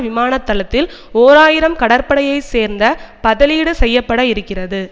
விமான தளத்தில் ஓர் ஆயிரம் கடற்படையை சேர்ந்த பதலீடு செய்ய பட இருக்கிறது